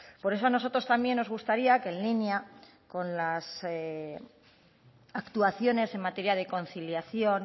por eso a nosotros también nos gustaría que en línea con las actuaciones en materia de conciliación